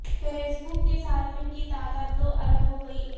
face بک کے صارفین کی تعداد دو ارب ہوگئی